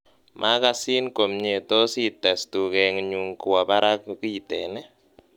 magasin komyee tos ites tugenyung kwo barak kiten ii